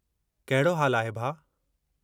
कहिड़ो हालु आहे, भाउ?